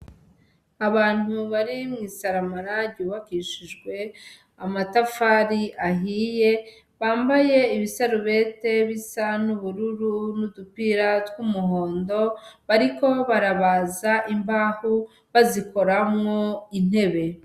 Abantu bari mw'isaramara ryubakishijwe amatafari ahiye bambaye ibisarubete bisa n'ubururu n'udupira tw'umuhondo bariko barabaza imbahu bazikoramwo intebe.